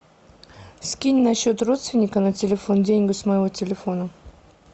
скинь на счет родственника на телефон деньги с моего телефона